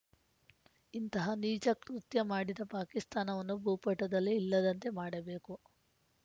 ಇಂತಹ ನೀಚ ಕೃತ್ಯ ಮಾಡಿದ ಪಾಕಿಸ್ತಾನವನ್ನು ಭೂಪಟದಲ್ಲೇ ಇಲ್ಲದಂತೆ ಮಾಡಬೇಕು